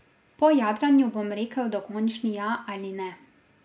Po jadranju bom rekel dokončni ja ali ne.